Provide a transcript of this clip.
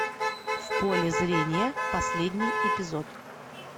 в поле зрения последний эпизод